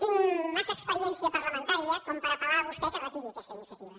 tinc massa experiència parlamentaria per apel·lar a vostè perquè retiri aquesta iniciativa